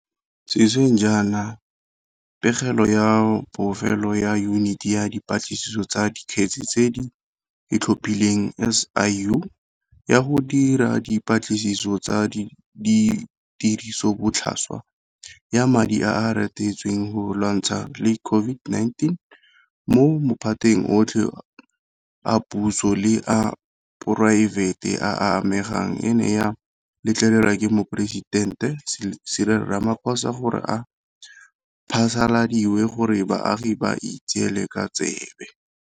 Sešweng jaana pegelo ya bofelo ya Yuniti ya Dipatlisiso tsa Dikgetse tse di Itlhophileng, SIU, ya go dira dipatlisiso tsa tirisobotlhaswa ya madi a a reretsweng go lwantshana le COVID-19 mo maphateng otlhe a puso le a poraefete a a amegang e ne ya letlelelwa ke Moporesitente Cyril Ramaphosa gore e phasaladiwe gore baagi ba itseele ka tsebe.